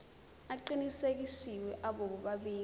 aqinisekisiwe abo bobabili